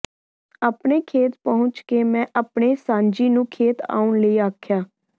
ਆਪਣੇ ਖੇਤ ਪਹੁੰਚ ਕੇ ਮੈਂ ਆਪਣੇ ਸਾਂਝੀ ਨੂੰ ਖੇਤ ਆਉਣ ਲਈ ਆਖਿਆ